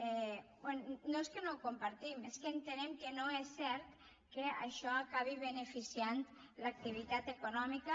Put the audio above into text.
bé no és que no ho compartim és que entenem que no és cert que això acabi beneficiant l’activitat econòmica